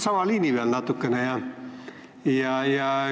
Ma ajan natukene täpselt sama liini.